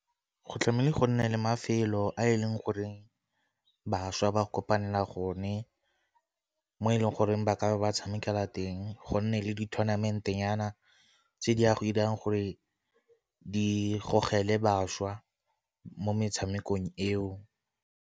Go tlamehile go nne le mafelo a e leng gore bašwa ba kopanela gone mo e leng goreng ba ka ba tshamekela teng, go nne le di-tornament-e nyana tse di ya go 'irang gore di gogelwe bašwa mo metshamekong eo.